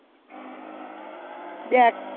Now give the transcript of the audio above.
দেখ